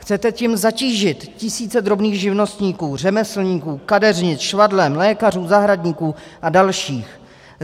Chcete tím zatížit tisíce drobných živnostníků, řemeslníků, kadeřnic, švadlen, lékařů, zahradníků a dalších.